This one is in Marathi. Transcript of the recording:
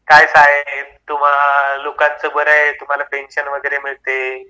काय साहेब तुम्हा लोकांच बरय आहे तुम्हला पेन्शन वगरे मिळते